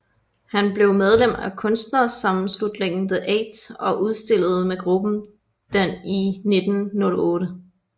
Han blev medlem af kunstnersammenslutningen The Eight og udstillede med gruppen den i 1908